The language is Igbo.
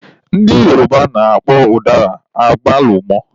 Ndị Yoruba na-akpọ ụdara agbalumọ.